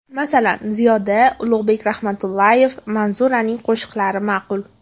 Masalan, Ziyoda, Ulug‘bek Rahmatullayev, Manzuraning qo‘shiqlari ma’qul.